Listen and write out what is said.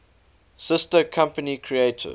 sister company creative